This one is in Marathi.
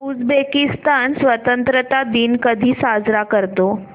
उझबेकिस्तान स्वतंत्रता दिन कधी साजरा करतो